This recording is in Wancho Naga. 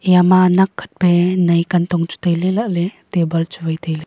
eya ma nakhat pe nai kantong chu tai ley la ley table chu wai tailey.